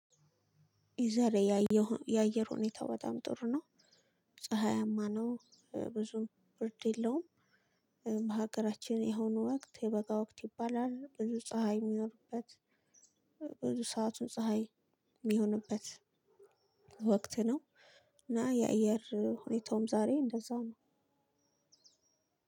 የዛሬ የአየር ሁኔታ በጣም ጥሩ ነው። ፀሀያማ ነው። ብዙም ብርድ የለሁም። በሀገራችን ይህን ወክት የበጋ ወክት ይባላል ብዙ ፀሀይ የሚኖርበት ብዙ ሰዓቱ ፀሀይ የሚሆንበት ወክት ነው። እና የአየር ሁኔታውም ዛሬ እንደዛ ነው።